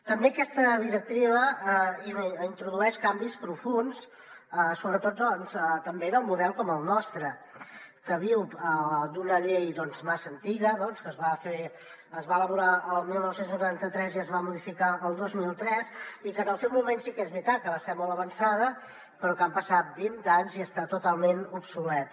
també aquesta directiva introdueix canvis profunds sobretot també en un model com el nostre que viu d’una llei massa antiga que es va elaborar el dinou noranta tres i es va modificar el dos mil tres i que en el seu moment sí que és veritat que va ser molt avançada però que han passat vint anys i està totalment obsoleta